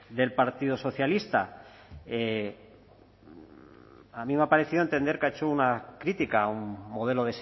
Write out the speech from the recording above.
del partido socialista a mí me ha parecido entender que ha hecho una crítica a un modelo